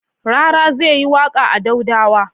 Rara zai yi waƙa a Daudawa.